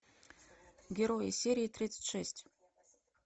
герои серия тридцать шесть